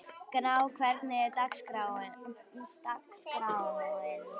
Gná, hvernig er dagskráin?